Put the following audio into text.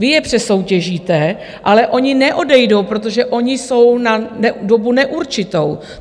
Vy je přesoutěžíte, ale oni neodejdou, protože oni jsou na dobu neurčitou.